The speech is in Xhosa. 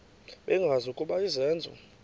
bengazi ukuba izenzo